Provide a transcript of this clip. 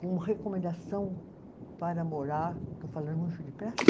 Com recomendação para morar, estou falando muito depressa?